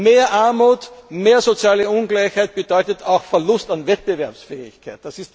Mehr Armut, mehr soziale Ungleichheit bedeutet auch Verlust an Wettbewerbsfähigkeit.